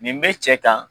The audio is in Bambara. Nin bɛ cɛ kan